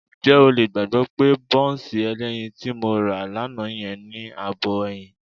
Ǹjẹ́ o lè gbàgbọ́ pé bọ́ńsì ẹlẹ́yin tí mo rà lánàá yẹn ní ààbọ̀ ẹyin?